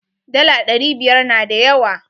Dala ɗari biyar na da yawa.